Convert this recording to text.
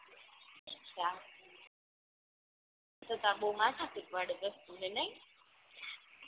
અછાં તો તો આ બઉ માથાકૂટ પડે બેન નઇ